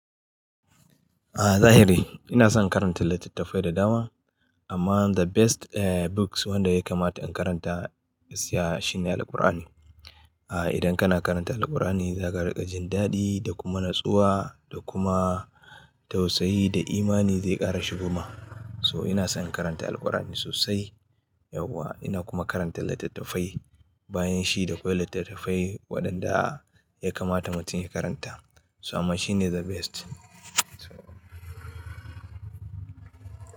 A zahiri ina son karanta littattafai da dama amma the best eh books wanda ya kamata in karanta gaskiya shine Alkur'ani. Ah idan kana karanta Alkur'ani za ka riƙa jin daɗi da kuma natsuwa da kuma tausayi da imani zai ƙara shigoma. So ina son karanta Alkur'ani sosai yauwa ina kuma karanta littattafai bayan shi da akwai littattafai waɗanda ya kamata mutum ya karanta. So amma shi ne the best. So.